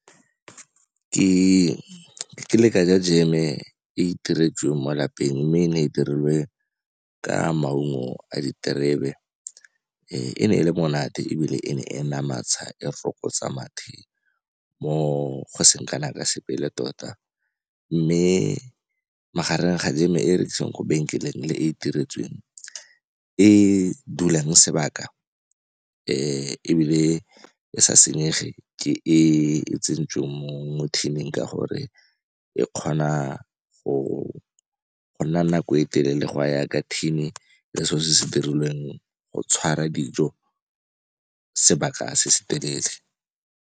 Kile ka ja jeme e iteretsweng mo lapeng, mme e ne e dirilwe ka maungo a diterebe. e ne e le monate, ebile e ne enamatsha, e fokotsa mathe mo go seng kana ka sepe le tota. Mme magareng ga jeme e e rekiwang ko 'benkeleng le e e itiretsweng, e e dulang sebaka e ebile e sa senyege ke e tsentswe mo tin-ing ka gore e kgona go nna nako e telele go a yaaka tin-e le selo se se dirilweng go tshwara dijo sebaka se se telele.